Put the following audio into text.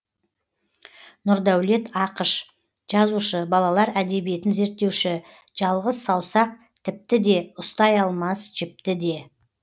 нұрдәулет ақыш жазушы балалар әдебиетін зерттеуші жалғыз саусақ тіпті де ұстай алмас жіпті де